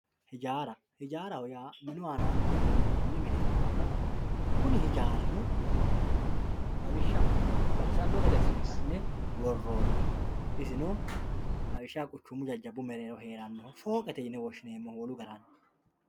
Hijaara, hijaara yaa minu aanani qolle minoni mine ikkanna kuni hijaarino lawishshaho baxisano gede assine worooniho isino lawishshaho jajjabbu mereero heeranoho fooqete yine woshshineemmoho wolu garinni.